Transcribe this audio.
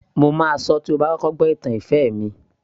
Mo máa sọ tí ó bá kọ́kọ́ gbó ìtàn ìfẹ́ mi